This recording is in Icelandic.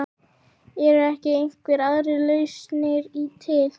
Eru ekki einhverjar aðrar lausnir til?